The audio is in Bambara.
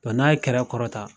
n'a ye kɛra kɔrɔta.